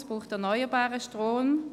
es braucht erneuerbaren Strom.